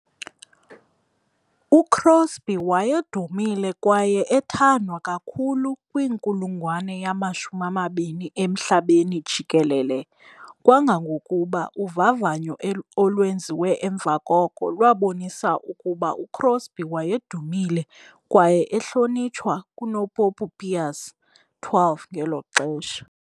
UCrosby wayedumile kwaye ethandwa kakhulu kwinkulungwane yama-20 emhlabeni jikelele kangangokuba uvavanyo olwenziwe emva koko lwabonisa ukuba uCrosby wayedumile kwaye ehlonitshwa kunoPopu Pius XII ngelo xesha.